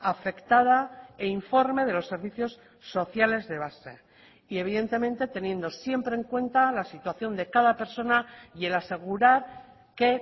afectada e informe de los servicios sociales de base y evidentemente teniendo siempre en cuenta la situación de cada persona y el asegurar que